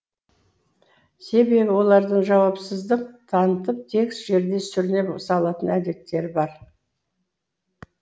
себебі олардың жауапсыздық танытып тегіс жерде сүріне салатын әдеттері бар